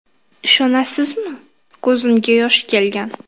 Ishonasizmi, ko‘zimga yosh kelgan.